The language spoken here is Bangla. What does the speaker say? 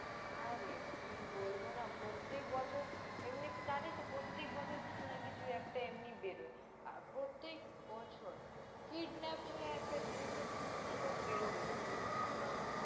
হ্যাঁরে, কি বলব না, প্রত্যেক বছর, এমনিতে জানিস না প্রত্যেক বছর কিছু না কিছু একটা এমনি বেরোই, আ~ প্রত্যেক বছর, kidnapping এ একটা জিনিস না জিনিস নিয়ে লোক বেরোবেই, আমি তহ বুঝতেই পারিনা